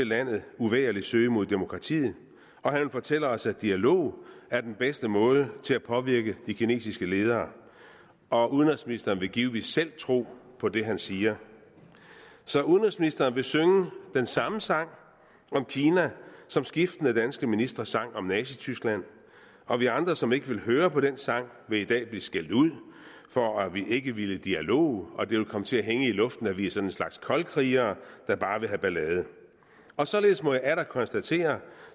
landet uvægerlig søge mod demokratiet og han vil fortælle os at dialog er den bedste måde til at påvirke de kinesiske ledere og udenrigsministeren vil givetvis selv tro på det han siger så udenrigsministeren vil synge den samme sang om kina som skiftende danske ministre sang om nazityskland og vi andre som ikke vil høre på den sang vil i dag blive skældt ud for at vi ikke ville dialog og det vil komme til at hænge i luften at vi er sådan en slags koldkrigere der bare vil have ballade og således må jeg atter konstatere